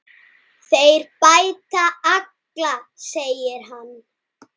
Þeir bæta alla, segir hann.